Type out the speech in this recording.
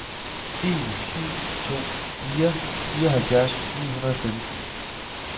en syv to fire fireoghalvfjerds ni hundrede og femten